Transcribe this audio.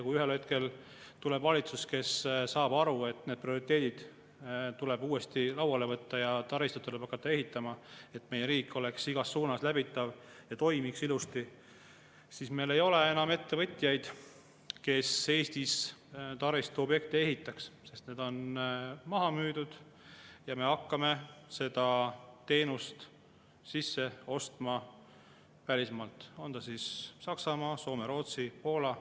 Kui ühel hetkel tuleb valitsus, kes saab aru, et need prioriteedid tuleb uuesti lauale võtta ja taristuid tuleb hakata ehitama, et meie riik oleks igas suunas läbitav ja toimiks ilusti, siis meil ei ole enam ettevõtteid, kes Eestis taristuobjekte ehitaks, sest need on maha müüdud, ja me hakkame seda teenust sisse ostma välismaalt, olgu Saksamaalt, Soomest, Rootsist või Poolast.